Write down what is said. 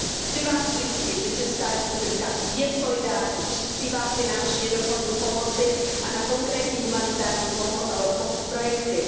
Chci Vás ujistit, že Česká republika je solidární, přispívá finančně do fondu pomoci a na konkrétní humanitární projekty.